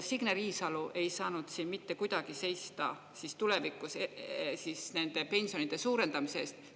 Signe Riisalo ei saanud mitte kuidagi seista tulevikus nende pensionide suurendamise eest.